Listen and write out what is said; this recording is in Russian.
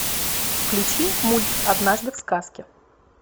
включи мульт однажды в сказке